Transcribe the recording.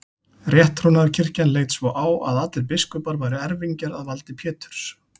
Rétttrúnaðarkirkjan leit svo á að allir biskupar væru erfingjar að valdi Péturs.